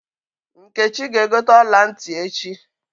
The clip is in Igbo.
Nkechi ga-egote ọla ntị echi.